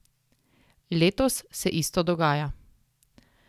Letos se isto dogaja.